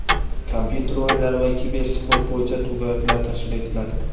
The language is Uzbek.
kompyuter o‘yinlari va kibersport bo‘yicha to‘garaklar tashkil etiladi.